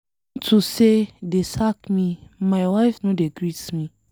Unto say dey sack me, my wife no dey greet me.